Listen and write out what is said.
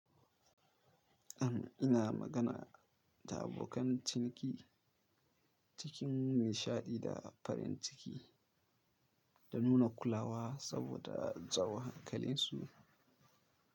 Am ina magana da abokan ciniki cikin nishaɗi da farin ciki, da nuna kulawa saboda in jawo hankalinsu.